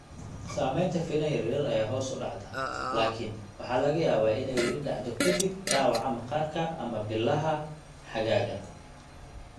Samaynta finan yaryar ayaa hoos u dhacda, laakiin waxa laga yaabaa inay weli dhacdo ka dib dhaawaca maqaarka ama bilaha xagaaga.